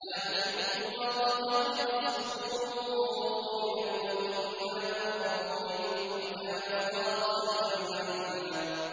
۞ لَّا يُحِبُّ اللَّهُ الْجَهْرَ بِالسُّوءِ مِنَ الْقَوْلِ إِلَّا مَن ظُلِمَ ۚ وَكَانَ اللَّهُ سَمِيعًا عَلِيمًا